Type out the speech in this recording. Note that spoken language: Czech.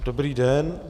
Dobrý den.